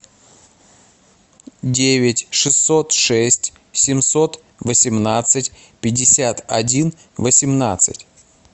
девять шестьсот шесть семьсот восемнадцать пятьдесят один восемнадцать